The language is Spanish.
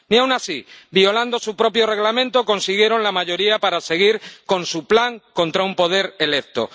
Ni aun así, violando su propio Reglamento, consiguieron la mayoría para seguir con su plan contra un poder electo.